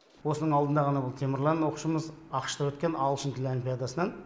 осының алдында ғана бұл темірлан оқушымыз ақш та өткен ағылшын тілі олимпиадасынан